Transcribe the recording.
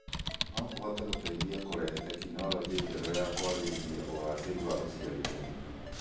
no kũhote gũteithia kũrehe tekinoronjĩ njerũ na kũagĩrithia ũgacĩru wa ũciarithania.